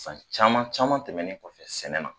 San caman caman tɛmɛnen kɔfɛ sɛnɛ na